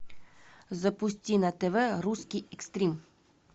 запусти на тв русский экстрим